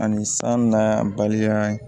Ani san na balimaya